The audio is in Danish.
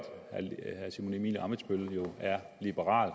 herre simon emil ammitzbøll jo er liberal og